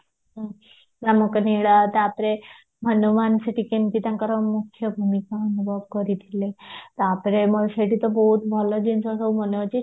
ରାମଙ୍କ ନୀଳା ତାପରେ ହନୁମାନ ସେଠି କେମତି ତାଙ୍କର ମୁଖ୍ୟ ଭୂମିକା ଅନୁଭବ କରିଥିଲେ ତାପରେ ଆମର ସେଇଠି ତ ବହୁତ ଭଲ ଜିନିଷ ତ ମାନେ ଅଛି